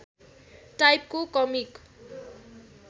टाइपको कमिक